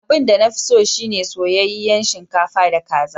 Abin da na fi so shi ne soyayyen shinkafa da kaza.